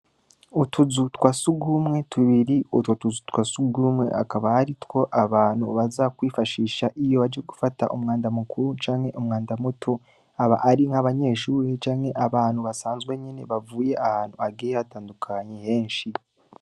Utuzu twasugumwe tubiri, utwotuzu twa sugumwe, hakaba hariho bantu baza Kwifashisha iyo baje gufata umwanda mukuru canke umwanda muto, abahari n'abanyeshure canke abantu basanzwe bagiye ahantu hatandukanye heshi.